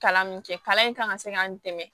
Kalan min kɛ kalan in kan ka se ka n dɛmɛ